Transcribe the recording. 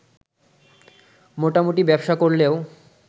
মোটামুটি ব্যবসা করলেও